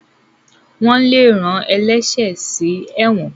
wón lè rán ẹlẹṣẹ sí èwòn.